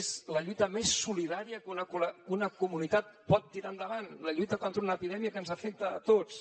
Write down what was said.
és la lluita més solidària que una comunitat pot tirar endavant la lluita contra una epidèmia que ens afecta a tots